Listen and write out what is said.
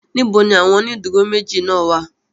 Níbo ni àwọn ó ìdúró méjì náà wà?